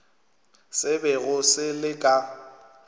se bego se le ka